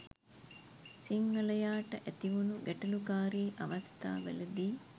සිංහලයාට ඇතිවුණු ගැටලුකාරී අවස්ථාවලදී